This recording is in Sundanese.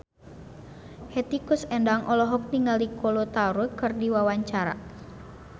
Hetty Koes Endang olohok ningali Kolo Taure keur diwawancara